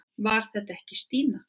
Var þetta ekki Stína?